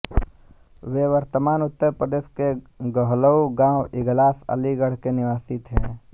ये वर्तमान उत्तरप्रदेश के गहलऊ गाँव इगलास अलीगढ़ के निवासी थे